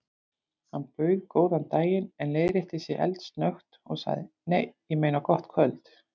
Hann bauð góðan daginn en leiðrétti sig eldsnöggt og sagði: Nei, ég meina gott kvöld.